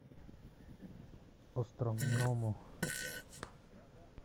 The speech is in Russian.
островному